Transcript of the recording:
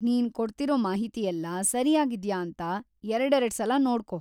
ನೀನ್ ಕೊಡ್ತಿರೋ ಮಾಹಿತಿಯೆಲ್ಲಾ ಸರಿಯಾಗಿದ್ಯಾ ಅಂತ ಎರಡೆರಡ್ಸಲ ನೋಡ್ಕೋ.